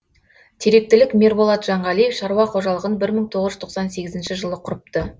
теректілік мерболат жанғалиев шаруа қожалығын бір мың тоғыз жүз тоқсан сегізінші жылы құрыпты